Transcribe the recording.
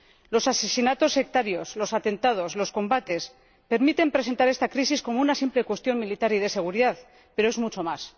Los asesinatos sectarios, los atentados, los combates permiten presentar esta crisis como una simple cuestión militar y de seguridad, pero es mucho más